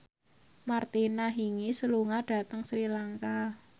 Martina Hingis lunga dhateng Sri Lanka